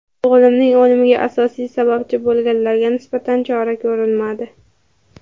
O‘g‘limning o‘limiga asosiy sababchi bo‘lganlarga nisbatan chora ko‘rilmadi.